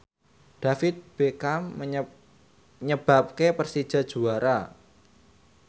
David Beckham nyebabke Persija juara